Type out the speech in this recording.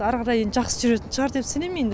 ары қарай енді жақсы жүретін шығар деп сенем енді